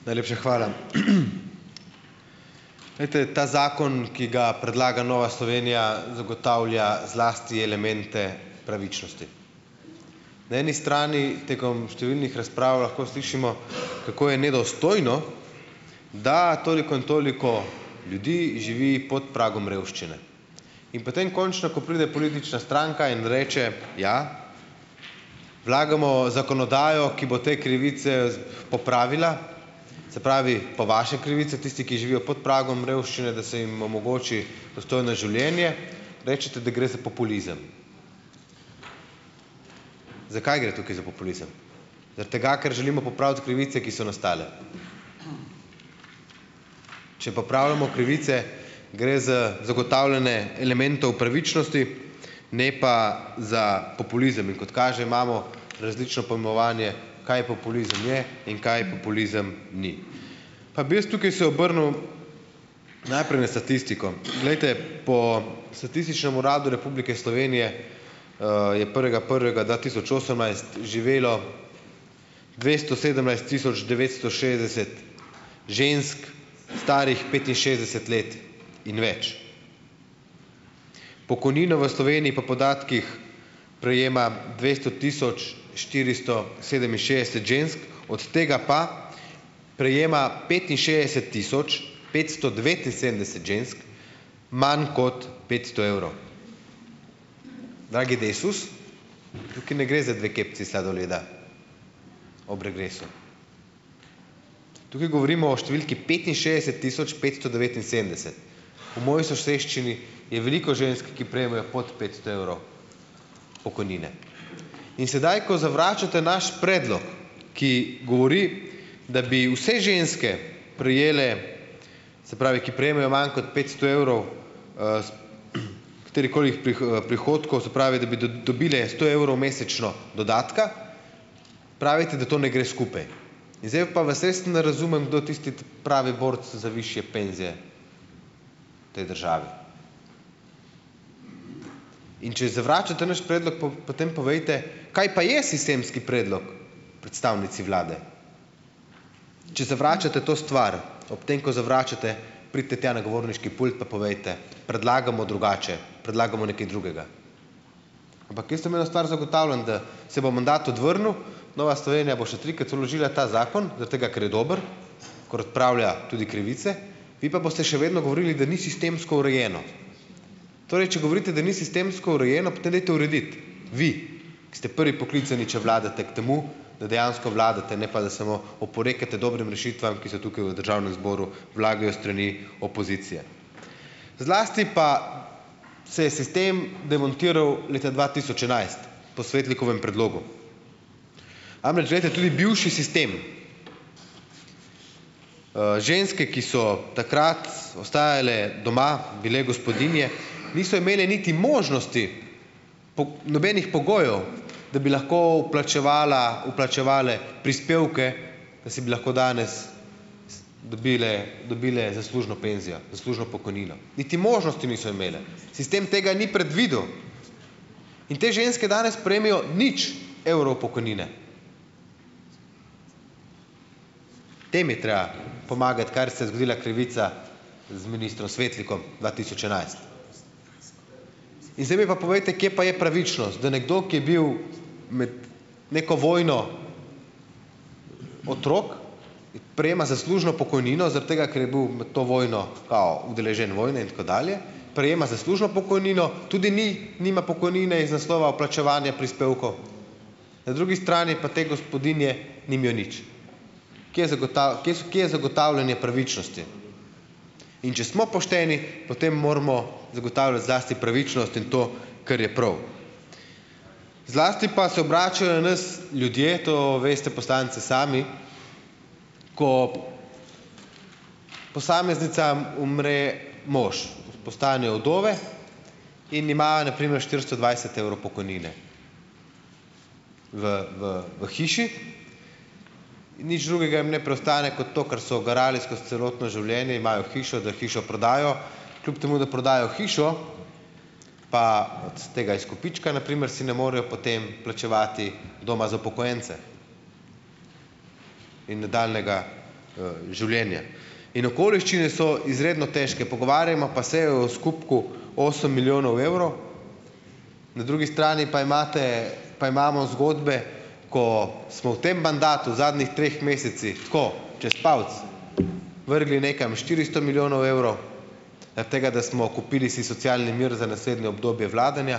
Najlepša hvala. Glejte, ta zakon, ki ga predlaga Nova Slovenija, zagotavlja zlasti elemente pravičnosti. Na eni strani tekom številnih razprav lahko slišimo, kako je nedostojno, da toliko in toliko ljudi živi pod pragom revščine. In potem, končno, ko pride politična stranka in reče: "Ja, vlagamo zakonodajo, ki bo te krivice z popravila." Se pravi, po vaše krivice, tisti, ki živijo pod pragom revščine, da se jim omogoči dostojno življenje, rečete, da gre za populizem. Zakaj gre tukaj za populizem, zaradi tega, ker želimo popraviti krivice, ki so nastale? Če popravljamo krivice, gre z zagotavljanje elementov pravičnosti, ne pa za populizem. In kot kaže, imamo različno pojmovanje, kaj populizem je in kaj populizem ni. Pa bi jaz tukaj se obrnil najprej v statistiko. Glejte, po Statističnem uradu Republike Slovenije, je prvega prvega dva tisoč osemnajst živelo dvesto sedemnajst tisoč devetsto šestdeset žensk, starih petinšestdeset let in več. Pokojnino v Sloveniji po podatkih prejema dvesto tisoč štiristo sedeminšestdeset žensk, od tega pa prejema petinšestdeset tisoč petsto devetinsedemdeset žensk manj kot petsto evrov. Dragi Desus, tukaj ne gre za dve kepici sladoleda ob regresu. Tukaj govorimo o številki petinšestdeset tisoč petsto devetinsedemdeset. V moji soseščini je veliko žensk, ki prejemajo pod petsto evrov pokojnine. In sedaj, ko zavračate naš predlog, ki govori, da bi vse ženske prejele, se pravi, ki prejemajo manj kot petsto evrov, katerihkoli, prihodkov, se pravi, da bi dobile sto evrov mesečno dodatka, pravite, da to ne gre skupaj. In zdaj je pa, vas res ne razumem, kdo tisti ta pravi borec za višje penzije v tej državi. In če zavračate naš predlog, po potem povejte, kaj pa je sistemski predlog predstavnici vlade. Če zavračate to stvar, ob tem, ko zavračate, pridite tja na govorniški pult, pa povejte: "Predlagamo drugače, predlagamo nekaj drugega." Ampak jaz vam eno stvar zagotavljam, da se bo mandat odvrnil, Nova Slovenija bo še trikrat vložila ta zakon zaradi tega, ker je dober, ker odpravlja tudi krivice, vi pa boste še vedno govorili, da ni sistemsko urejeno. Torej, če govorite, da ni sistemsko urejeno, potem dajte urediti vi, ko ste prvi poklicani, če vladate, k temu, da dejansko vladate, ne pa da samo oporekate dobrim rešitvam, ki se tukaj v državnem zboru vlagajo s strani opozicije. Zlasti pa se je sistem demontiral leta dva tisoč enajst po Svetlikovem predlogu. Namreč, glejte, tudi bivši sistem, ženske, ki so takrat ostajale doma, bile gospodinje, niso imele niti možnosti, po, nobenih pogojev, da bi lahko vplačevala, vplačevale prispevke, da si bi lahko danes dobile, dobile zaslužno penzijo, zaslužno pokojnino, niti možnosti niso imele, sistem tega ni predvidel. In te ženske danes prejmejo nič evrov pokojnine. Tem je treba pomagati, kar se je zgodila krivica z ministrom Svetlikom dva tisoč enajst. In zdaj mi pa povejte, kje pa je pravičnost, da nekdo, ki je bil med neko vojno otrok, prejema zaslužno pokojnino zaradi tega, ker je bil med to vojno kao udeležen vojne in tako dalje, prejema zaslužno pokojnino, tudi ni, nima pokojnine iz naslova vplačevanja prispevkov, na drugi strani pa te gospodinje nimajo nič. Kje kje so, kje je zagotavljanje pravičnosti? In če smo pošteni, potem moramo zagotavljati zlasti pravičnost in to, kar je prav. Zlasti pa se obračajo, nas ljudje, to veste poslanci sami, ko posameznicam umre mož, postanejo vdove in imajo na primer štiristo dvajset evrov pokojnine. V, v, v hiši nič drugega jim ne preostane, kot to, kar so garale skozi celotno življenje, imajo hišo, da hišo prodajo. Kljub temu da prodajo hišo, pa od tega izkupička na primer si ne morejo potem plačevati doma za upokojence in nadaljnjega, življenja. In okoliščine so izredno težke. Pogovarjamo pa se o skupku osem milijonov evrov, na drugi strani pa imate, pa imamo zgodbe, ko smo v tem mandatu v zadnjih treh mesecih tako čez palec vrgli nekam štiristo milijonov evrov zaradi tega, da smo kupili si socialni mir za naslednje obdobje vladanja,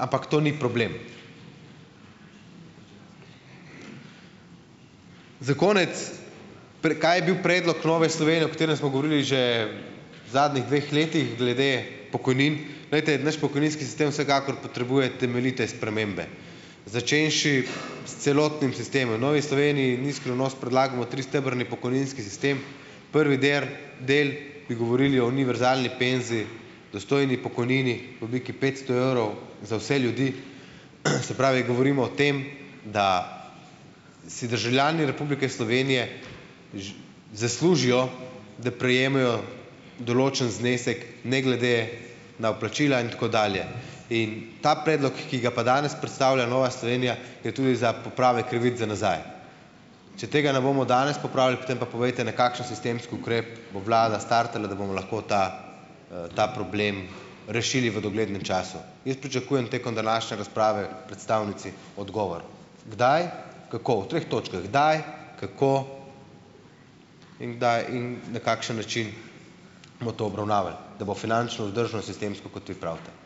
ampak to ni problem. Za konec, kaj je bil predlog Nove Slovenije, o katerem smo govorili že v zadnjih dveh letih glede pokojnin. Glejte, naš pokojninski sistem vsekakor potrebuje temeljite spremembe, začenši s celotnim sistemom. V Novi Sloveniji, ni skrivnost, predlagamo tristebrni pokojninski sistem. Prvi der, del bi govorili o univerzalni penziji, dostojni pokojnini v obliki petsto evrov za vse ljudi, se pravi, govorimo o tem, da si državljani Republike Slovenije zaslužijo, da prejemejo določen znesek ne glede na vplačila in tako dalje. In ta predlog, ki ga pa danes predstavlja Nova Slovenija je tudi za popravek krivic za nazaj. Če tega ne bomo danes popravili, potem pa povejte, na kakšen sistemski ukrep bo vlada startala, da bomo lahko ta, ta problem rešili v doglednem času. Jaz pričakujem tekom današnje razprave predstavnici odgovor kdaj, kako. V treh točkah, kdaj, kako in kdaj in na kakšen način bomo to obravnavali, da bo finančno vzdržno sistemsko, kot vi pravite.